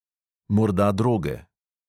Morda droge.